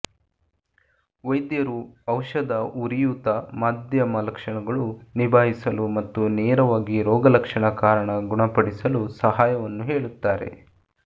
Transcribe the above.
ವೈದ್ಯರು ಔಷಧ ಉರಿಯೂತ ಮಾಧ್ಯಮ ಲಕ್ಷಣಗಳು ನಿಭಾಯಿಸಲು ಮತ್ತು ನೇರವಾಗಿ ರೋಗಲಕ್ಷಣ ಕಾರಣ ಗುಣಪಡಿಸಲು ಸಹಾಯವನ್ನು ಹೇಳುತ್ತಾರೆ